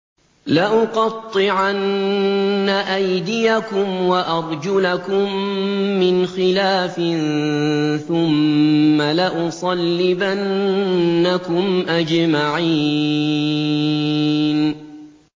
لَأُقَطِّعَنَّ أَيْدِيَكُمْ وَأَرْجُلَكُم مِّنْ خِلَافٍ ثُمَّ لَأُصَلِّبَنَّكُمْ أَجْمَعِينَ